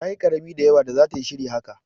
Ta yi karami da yawa da zata yi shiri haka.